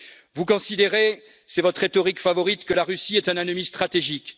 Vous considérez c'est votre rhétorique favorite que la Russie est un ennemi stratégique.